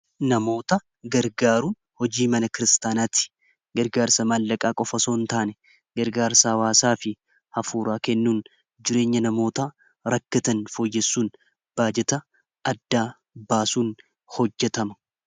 namoota gargaaruun hojii mana kiristaanaatti gargaarsa maallaqaa qofa osoon hin taane gargaarsaa hawaasaa fi hafuuraa kennuun jireenya namoota rakkatan foyyessuun baajeta adda baasuun hojjetama